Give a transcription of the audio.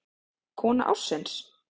Kona ársins?